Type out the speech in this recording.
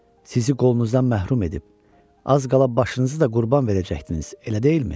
Sizi qolunuzdan məhrum edib, az qala başınızı da qurban verəcəkdiniz, elə deyilmi?